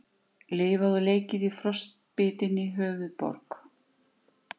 Lifað og leikið í frostbitinni höfuðborg